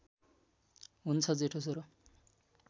हुन्छ जेठो छोरो